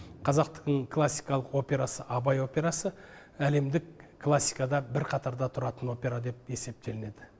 қазақтың классикалық операсы абай операсы әлемдік классикада бір қатарда тұратын опера деп есептелінеді